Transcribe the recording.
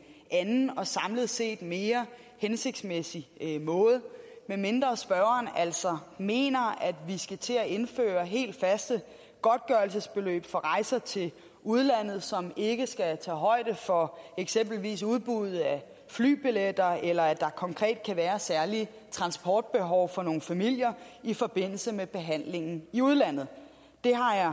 anden og samlet set mere hensigtsmæssig måde medmindre spørgeren altså mener at vi skal til at indføre helt faste godtgørelsesbeløb for rejser til udlandet som ikke skal tage højde for eksempelvis udbuddet af flybilletter eller at der konkret kan være særlige transportbehov for nogle familier i forbindelse med behandlingen i udlandet det har jeg